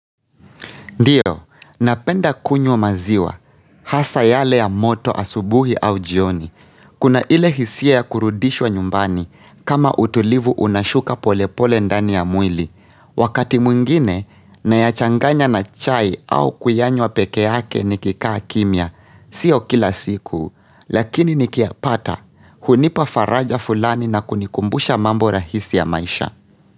Ndiyo, napenda kunywa maziwa, hasa yale ya moto asubuhi au jioni, kuna ile hisia ya kurudishwa nyumbani, kama utulivu unashuka pole pole ndani ya mwili. Wakati mwingine, na ya changanya na chai au kuyanywa peke yake nikikaa kimia, siyo kila siku, lakini nikiya pata, hunipa faraja fulani na kunikumbusha mambo rahisi ya maisha.